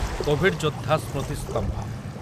Covid ଯୋଦ୍ଧା ସ୍ମୃତିସ୍ତମ୍ଭ